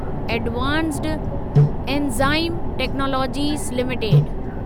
advanced enzyme technologies limited